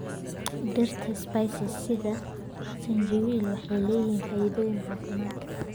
Dhirta spices sida zanjabil waxay leeyihiin faa'iidooyin caafimaad.